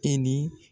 E ni